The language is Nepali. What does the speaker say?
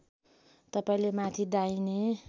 तपाईँले माथि दाहिने